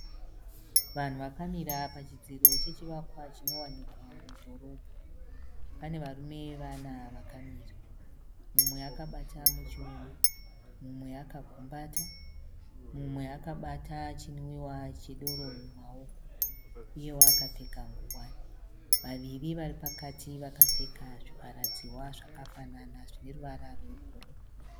Vanhu vakamira pachidziro chechivakwa chinowanika mudhorobha. Pane varume vana vakamira. Mumwe akabata muchiuno, mumwe akagumbata, mumwe akabata chinwiwa chedoro mumaoko uyewo akapfeka ngowani. Vaviri vari pakati vakapfeka zvivharadzihwa zvakafanana zvine ruvara rwebhuruu.